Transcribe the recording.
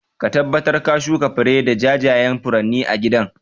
Ka tabbatar ka shuka fari da jajayan furanni a gidan